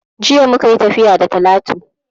Jiya muka yi tafiya da Talatu